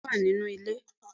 bẹẹni ìbejí mi wa ninú ilé